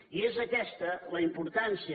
i és aquesta la importància